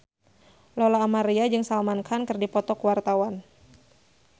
Lola Amaria jeung Salman Khan keur dipoto ku wartawan